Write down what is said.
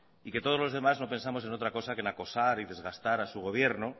y que todos los demás no pensamos en otra cosa que en acosar y desgastar a su gobierno